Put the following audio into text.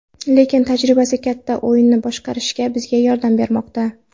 Lekin tajribasi katta, o‘yinni boshqarishga bizga yordam bermoqda.